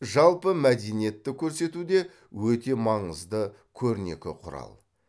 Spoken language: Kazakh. жалпы мәдениетті көрсетуде өте маңызды көрнекі құрал